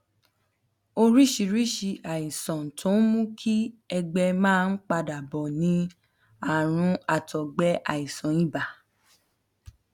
oríṣiríṣi àìsàn tó ń mú kí ẹgbẹ máa ń padà bò ni àrùn àtọgbẹ àìsàn ibà